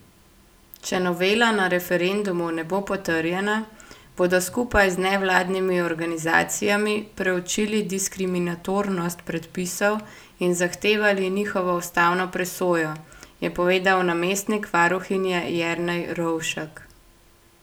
Če novela na referendumu ne bo potrjena, bodo skupaj z nevladnimi organizacijami preučili diskriminatornost predpisov in zahtevali njihovo ustavno presojo, je povedal namestnik varuhinje Jernej Rovšek.